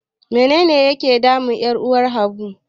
Menene ke damun 'yar uwar Habu?